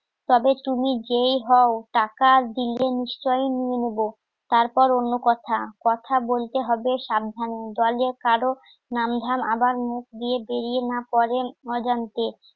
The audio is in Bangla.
তবে তুমি যেই হও, টাকা দিলে নিশ্চই নিয়ে নেবো তারপর অন্য কথা কথা বলতে হবে সাবধান. দলের কারোর নামধাম আবার মুখ দিয়ে বেরিয়ে না পড়েন অজান্তে